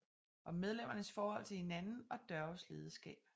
Om medlemmernes forhold til hinanden og Dørges lederskab